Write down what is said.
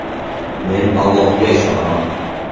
Men Allohga ishonaman.